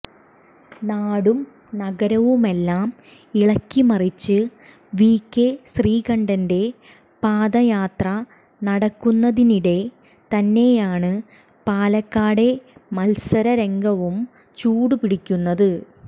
നാടും നഗരവുമെല്ലാം ഇളക്കി മറിച്ച് വി കെ ശ്രീകണ്ഠന്റെ പദയാത്ര നടക്കുന്നതിനിടെ തന്നെയാണ് പാലക്കാടെ മത്സരംഗവും ചൂട് പിടിക്കുന്നത്